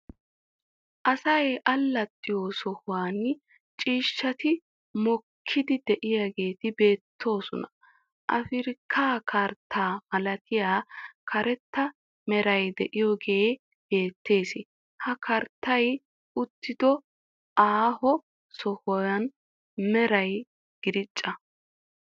Asay allaxxiyo sohuwan ciishshati mokkiidi de'iyageeti beettoosona. Afirkka karttaa malattay karetta meray de'iyogee bettees. Ha karttay uttiddo aaho sohuwa meray giraacca.